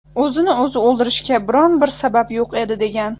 O‘zini o‘zi o‘ldirishga biron bir sabab yo‘q edi”, degan.